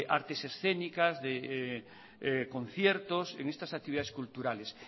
artes escénicas de conciertos en estas actividades culturales